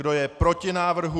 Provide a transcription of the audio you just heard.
Kdo je proti návrhu?